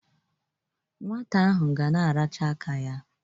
Nwata ahụ ga na-aracha aka ya.